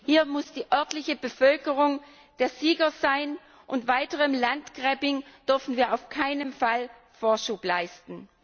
Hier muss die örtliche Bevölkerung der Sieger sein, und weiterem Landgrabbing dürfen wir auf keinen Fall Vorschub leisten.